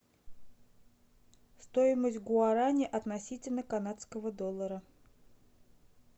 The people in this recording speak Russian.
стоимость гуарани относительно канадского доллара